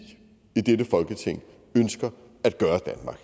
i dette folketing ønsker at gøre